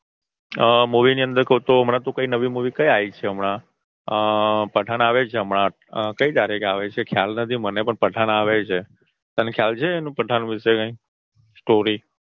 Movie ની અંદર કઉં તો હમણાં તો નવી Movie કઈ આવી છે હમણાં પઠાણ આવે છે હમણાં કઈ તારીખે આવે છે ખ્યાલ નથી મને પણ પઠાણ આવે છે તને ખ્યાલ છે પઠાણ વિષે કઈ Story